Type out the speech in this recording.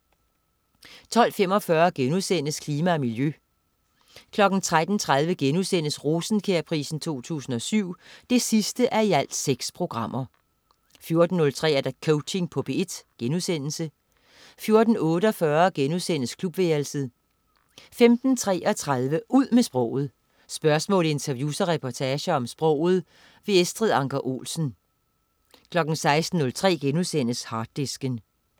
12.45 Klima og miljø* 13.30 Rosenkjærprisen 2007 6:6* 14.03 Coaching på P1* 14.48 Klubværelset* 15.33 Ud med sproget. Spørgsmål, interviews og reportager om sproget. Estrid Anker Olsen 16.03 Harddisken*